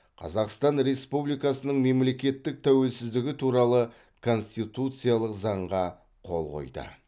қазақстан республикасының мемлекеттік тәуелсіздігі туралы конституциялық заңға қол қойды